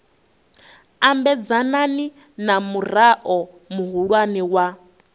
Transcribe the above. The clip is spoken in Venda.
ambedzana na murao muhulwane wa